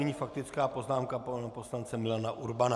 Nyní faktická poznámka pana poslance Milana Urbana.